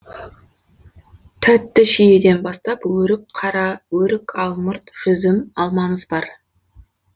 тәтті шиеден бастап өрік қара өрік алмұрт жүзім алмамыз бар